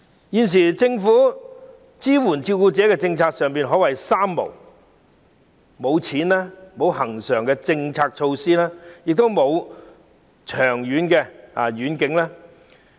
現時，政府支援照顧者的政策可說是"三無"："無錢"、"無恆常措施"、"無遠景"。